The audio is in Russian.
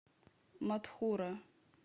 матхура